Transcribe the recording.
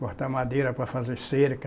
Cortar madeira para fazer cerca.